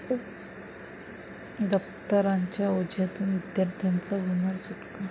दप्तरांच्या ओझ्यातून विद्यार्थ्यांची होणार सुटका?